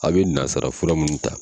A bɛ nansarafura minnu ta.